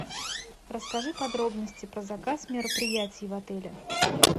расскажи подробности про заказ мероприятий в отеле